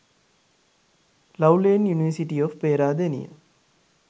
love lane university of peradeniya